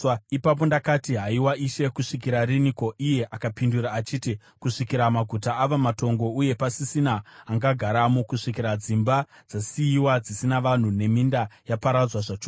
Ipapo ndakati, “Haiwa, Ishe, kusvikira riniko?” Iye akapindura achiti, “Kusvikira maguta ava matongo uye pasisina anogaramo, kusvikira dzimba dzasiyiwa dzisina vanhu, neminda yaparadzwa zvachose,